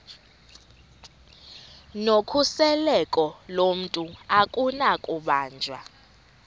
nokhuseleko lomntu akunakubanjwa